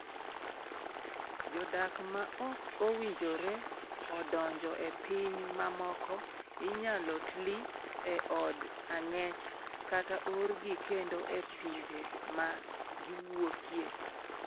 Jodak ma ok owinjore odonjo e pinje mamoko inyalo tli e od ang'ech kata oorgi kendo e pinje ma giwuokye.